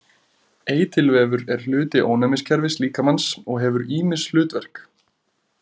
Eitilvefur er hluti ónæmiskerfis líkamans og hefur ýmis hlutverk.